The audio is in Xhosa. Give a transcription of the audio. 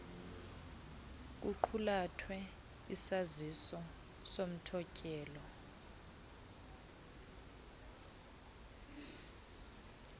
kuqulathwe sisaziso sothotyelo